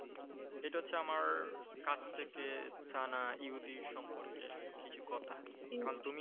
এটা হচ্ছে আমার কাছ থেকে জানা ইহুদী সম্পর্কে কিছু কথা কারন তুমি